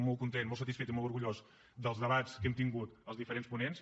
molt content molt satisfet i molt orgullós dels debats que hem tingut els diferents ponents